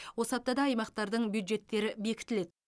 осы аптада аймақтардың бюджеттері бекітіледі